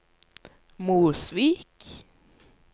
Mosvik